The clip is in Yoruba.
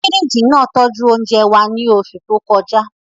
Fíríjì náà tọ́jú oúnjẹ wa ní oṣù tó kọjá